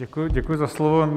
Děkuji za slovo.